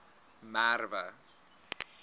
merwe